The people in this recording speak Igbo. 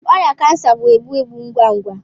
ọrịa kansa bụ egbu egbu ngwa ngwa.